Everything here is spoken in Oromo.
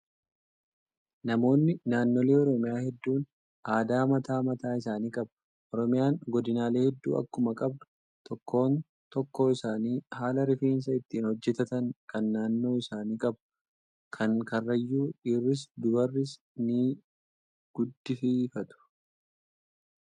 Namoonni naannoolee oromiyaa hedduun aadaa mataa mataa isaanii qabu. Oromiyaan godinaalee hedduu akkuma qabdu tokkoon tokkoo isaanii haala rifeensa ittiin hojjatatan kan naannoo isaanii qabu. Kan karrayyuu dhiirris dubarris ni gudfifatu